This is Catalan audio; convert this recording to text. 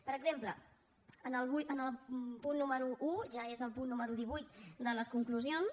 per exemple el punt número un ja és el punt número divuit de les conclusions